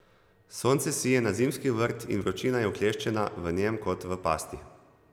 Sonce sije na zimski vrt in vročina je vkleščena v njem kot v pasti.